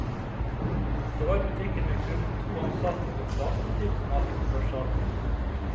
Det var butikker med kun to ansatte og en platebutikk som hadde opphørssalg.